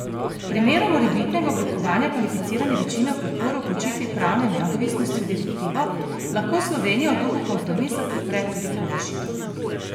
V primeru morebitnega oblikovanja kvalificirane večine v podporo vključitvi pravne neodvisnosti v direktivo, lahko Slovenija v duhu kompromisa podpre tudi to rešitev.